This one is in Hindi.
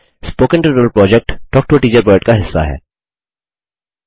spoken tutorial project talk to a teacher project का हिस्सा है